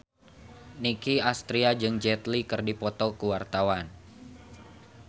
Nicky Astria jeung Jet Li keur dipoto ku wartawan